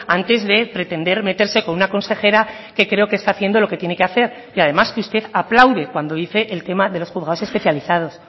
antes de pretender meterse con una consejera que creo que está haciendo lo que tiene que hacer y además que usted aplaude cuando dice el tema de los juzgados especializados